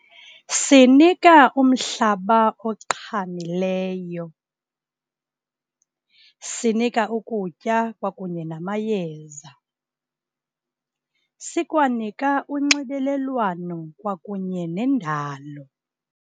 Simnika umhlaba oqhamileyo, sinika ukutya kwakunye namayeza. Sikwanika unxibelelwano kwakunye nendalo.